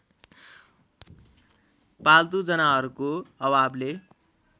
पाल्तु जनावरको अभावले